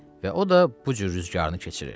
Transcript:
Və o da bu cür rüzgarını keçirir.